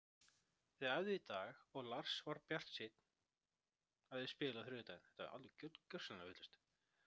Þeir æfðu í dag og Lars er bjartsýnn á að þeir spili á þriðjudaginn.